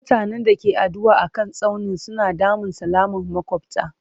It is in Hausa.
Mutanen da ke addu'a a kan tsaunin suna damun salaman makwabta.